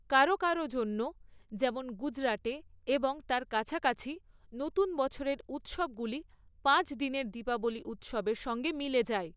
কারো কারো জন্য, যেমন গুজরাটে এবং তার কাছাকাছি, নতুন বছরের উত্সবগুলি পাঁচ দিনের দীপাবলি উত্সবের সঙ্গে মিলে যায়৷